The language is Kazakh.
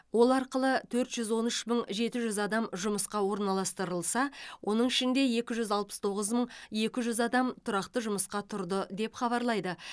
ол арқылы төрт жүз он үш мың жеті жүз адам жұмысқа орналастырылса оның ішінде екі жүз алпыс тоғыз мың екі жүз адам тұрақты жұмысқа тұрды деп хабарлайды